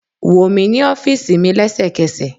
Wo mi ni ọfiisi mi lẹsẹkẹsẹ!